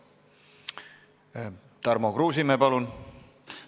Tarmo Kruusimäe, palun!